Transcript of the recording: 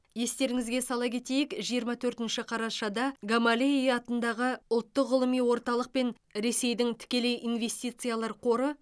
естеріңізге сала кетейік жиырма төртінші қарашада гамалеи атындағы ұлттық ғылыми орталық пен ресейдің тікелей инвестициялыар қоры